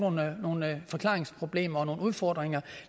nogle forklaringsproblemer og nogle udfordringer